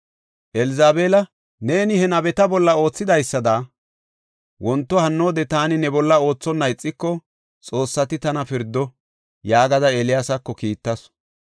Elzabeela, “Neeni he nabeta bolla oothidaysada wonto hannoode taani ne bolla oothonna ixiko, xoossati tana pirdo” yaagada Eeliyaasako kiittasu.